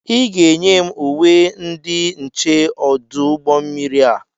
Ị ga-enye m uwe ndị nche ọdụ ụgbọ mmiri a!